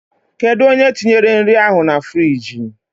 Kedụ onye tinyere nri ahụ na friiji?